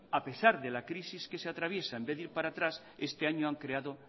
a pesar de la crisis que se atraviesa en vez de ir para atrás este año han creado